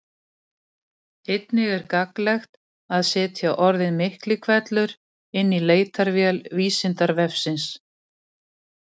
Einnig er gagnlegt að setja orðið Miklihvellur inn í leitarvél Vísindavefsins.